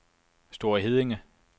Store Heddinge